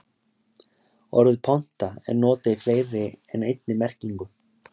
Orðið ponta er notað í fleiri en einni merkingu.